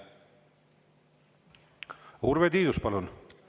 Urve Tiidus, palun!